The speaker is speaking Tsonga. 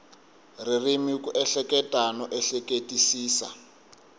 ririmi ku ehleketa no ehleketisisa